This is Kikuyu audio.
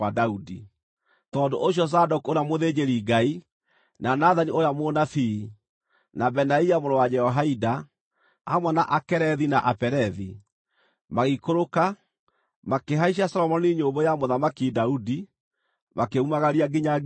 Tondũ ũcio Zadoku ũrĩa mũthĩnjĩri-Ngai, na Nathani ũrĩa mũnabii, na Benaia mũrũ wa Jehoiada, hamwe na Akerethi na Apelethi, magĩikũrũka, makĩhaicia Solomoni nyũmbũ ya Mũthamaki Daudi, makĩmumagaria nginya Gihoni.